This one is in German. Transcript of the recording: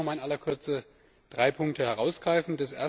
Ich möchte aber auch noch mal in aller Kürze drei Punkte herausgreifen.